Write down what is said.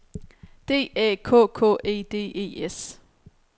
D Æ K K E D E S